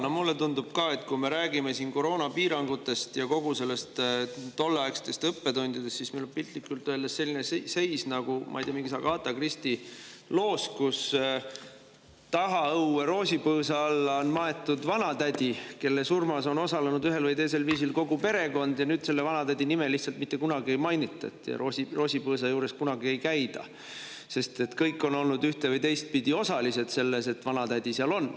No mulle tundub ka, et kui me räägime siin koroonapiirangutest ja tolleaegsetest õppetundidest, siis meil on piltlikult öeldes selline seis, ma ei tea, nagu mingis Agatha Christie loos, kus tagaõue roosipõõsa alla on maetud vanatädi, kelle surmas on osalenud ühel või teisel viisil kogu perekond, ja nüüd selle vanatädi nime lihtsalt mitte kunagi ei mainita ja roosipõõsa juures kunagi ei käida, sest kõik on olnud ühte- või teistpidi osalised selles, et vanatädi seal on.